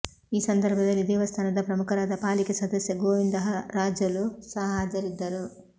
ಈ ಸಂದರ್ಭದಲ್ಲಿ ದೇವಸ್ಥಾನದ ಪ್ರಮುಖರಾದ ಪಾಲಿಕೆ ಸದಸ್ಯ ಗೋವಿಂದರಾಜುಲು ಸಹ ಹಾಜರಿದ್ದರು